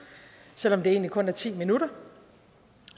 selv om det egentlig kun er i ti minutter